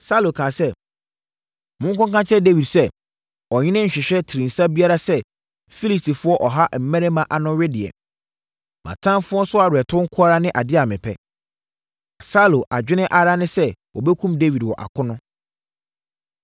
Saulo kaa sɛ, “Monkɔka nkyerɛ Dawid sɛ, ‘Ɔhene nhwehwɛ tirinsa biara sɛ Filistifoɔ ɔha mmarima ano wedeɛ. Mʼatamfoɔ so aweretɔ nko ara ne adeɛ a mepɛ.’ ” Na Saulo adwene ara ne sɛ wɔbɛkum Dawid wɔ akono.